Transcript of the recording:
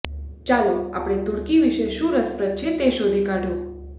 ચાલો આપણે તૂર્કી વિશે શું રસપ્રદ છે તે શોધી કાઢો